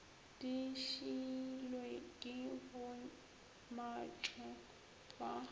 di šiilwe ke bommatšo ba